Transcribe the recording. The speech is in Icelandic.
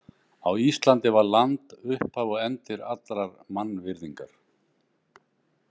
Á Íslandi var land upphaf og endir allrar mannvirðingar.